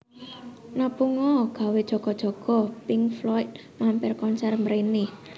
Nabung o gawe jaga jaga Pink Floyd mampir konser mrene